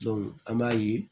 an b'a ye